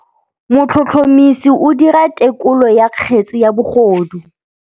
Motlhotlhomisi o dira têkolô ya kgetse ya bogodu.